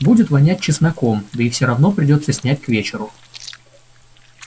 будет вонять чесноком да и все равно придётся снять к вечеру